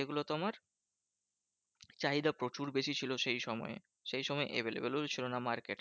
সেগুলো তোমার চাহিদা প্রচুর বেশি ছিল সেই সময়। সেই সময় available ও ছিল না market এ।